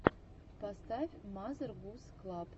поставь мазер гуз клаб